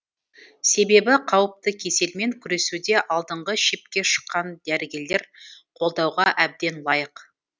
себебі қауіпті кеселмен күресуде алдыңғы шепке шыққан дәрігерлер қолдауға әбден лайық